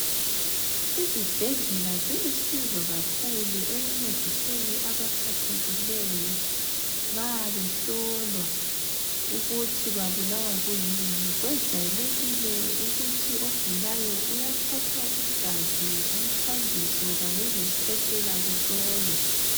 Izibhedlela zilusizo kakhulu ekuncediseni abaphathekileyo nxa behlolwa ukuthi babulawa kuyini. Kwejayelekile ukuthi ogulayo uyathathwa igazi, umthambiso kanye lesikhwehlela kuhlolwe.